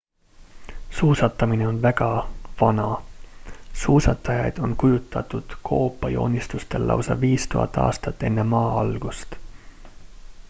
suusatamine on väga vana – suusatajaid on kujutatud koopajoonistustel lausa 5000 aastat e.m.a!